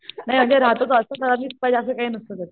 नाही अगं रहातो तो असं कोणाशी पाहिजे असं काही नसत त्याचं